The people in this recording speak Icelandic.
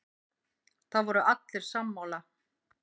Það voru allir sammála.